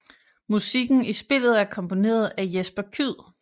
Musikken i spillet er komponeret af Jesper Kyd